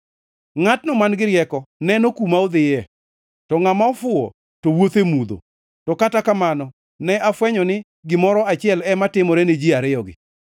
Ngʼatno man-gi rieko neno kuma odhiye, to ngʼama ofuwo to wuotho e mudho, to kata kamano ne afwenyo ni gimoro achiel ema timore ni ji ariyogi.